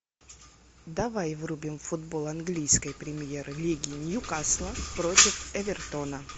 давай врубим футбол английской премьер лиги ньюкасла против эвертона